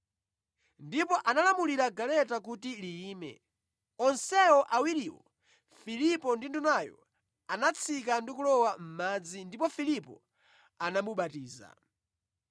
Ndipo analamulira galeta kuti liyime. Onse awiriwo, Filipo ndi Ndunayo anatsika ndi kulowa mʼmadzi ndipo Filipo anamubatiza.